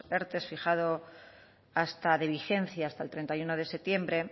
erte fijado hasta de vigencia hasta el treinta y uno de septiembre